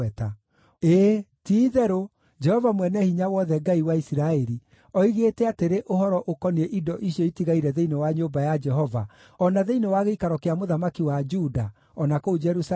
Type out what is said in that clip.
ĩĩ, ti-itherũ Jehova Mwene-Hinya-Wothe, Ngai wa Isiraeli oigĩte atĩrĩ ũhoro ũkoniĩ indo icio itigaire thĩinĩ wa nyũmba ya Jehova, o na thĩinĩ wa gĩikaro kĩa mũthamaki wa Juda, o na kũu Jerusalemu: